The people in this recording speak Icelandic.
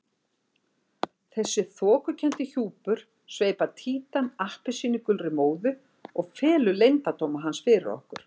Þessi þokukenndi hjúpur sveipar Títan appelsínugulri móðu og felur leyndardóma hans fyrir okkur.